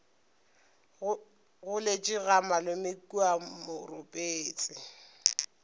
goletše ga malome kua moropetse